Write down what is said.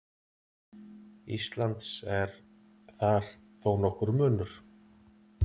Íslands er þar þó nokkur munur.